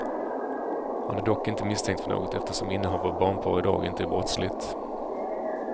Han är dock inte misstänkt för något eftersom innehav av barnporr idag inte är brottsligt.